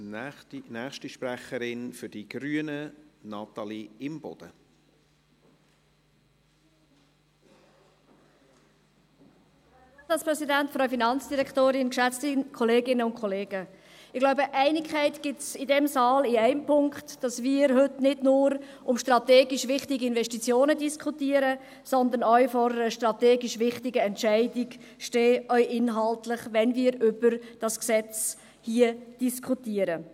Ich glaube, Einigkeit gibt es in diesem Saal in einem Punkt, nämlich darin, dass wir heute nicht nur über strategisch wichtige Investitionen diskutieren, sondern auch vor einer strategisch wichtigen Entscheidung stehen, auch inhaltlich, wenn wir über dieses Gesetz diskutieren.